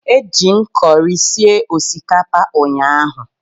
Eji m kọrị sie osikapa ụnyahụ.